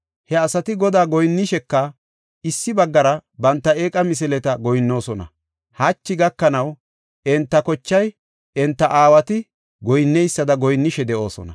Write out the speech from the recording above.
He asati Godaa goyinnisheka, issi baggara banta eeqa misileta goyinnoosona. Hachi gakanaw enta kochay enta aawati goyinneysada goyinnishe de7oosona.